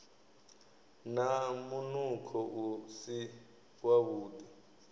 na munukho u si wavhuḓi